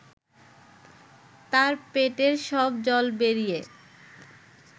তার পেটের সব জল বেরিয়ে